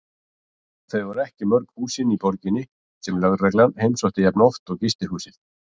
Þau voru ekki mörg húsin í borginni sem lögreglan heimsótti jafn oft og gistihúsið.